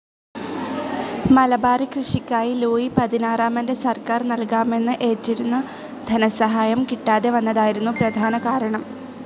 മലബാറി കൃഷിക്കായി ലൂയി പതിനാറാമൻ്റെ സർക്കാർ നൽകാമെന്ന് ഏറ്റിരുന്ന ധനസഹായം കിട്ടാതെ വന്നതായിരുന്നു പ്രധാന കാരണം.